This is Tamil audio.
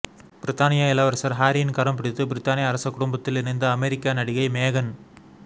பிரித்தானிய இளவரசர் ஹரியின் கரம்பிடித்து பிரித்தானிய அரச குடும்பத்தில் இணைந்த அமெரிக்க நடிகை மேகன் ம